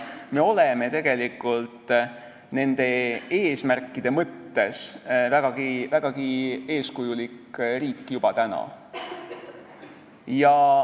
Me oleme tegelikult nende eesmärkide mõttes vägagi eeskujulik riik juba täna.